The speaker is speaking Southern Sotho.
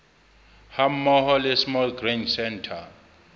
hammoho le small grain centre